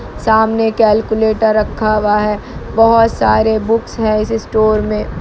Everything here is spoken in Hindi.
सामने कैलक्यूलेटर रखा हुआ है। बहुत सारे बुक्स है इस स्टोर में --